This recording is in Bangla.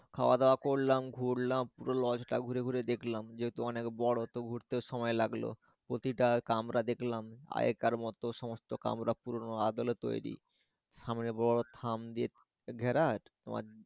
খাওয়া দাওয়া করলাম ঘুরলাম পুরো লজ টা ঘুরে ঘুরে দেখলাম যেহেতু অনেক বড় তো ঘুরতে সময় লাগলো প্রতি টা কামরা দেখলাম আগেকার মতো সমস্ত কামরা পুরোনো আদলে তৈরি সামনে বড় থাম দিয়ে ঘেরা তোমার।